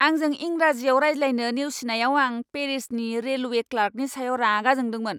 आंजों इंराजियाव रायज्लायनो नेवसिनायाव आं पेरिसनि रेलवे क्लार्कनि सायाव रागा जोंदोंमोन!